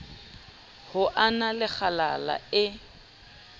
ho na le kgalala e